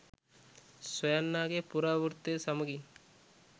සොයන්නාගෙ පුරාවෘත්තය සමඟින්